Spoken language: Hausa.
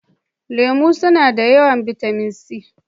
Lemu suna da yawan bitamin C.